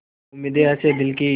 उम्मीदें हसें दिल की